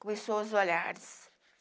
Começou os olhares.